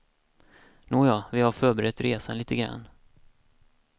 Nåja, vi har förberett resan lite grand.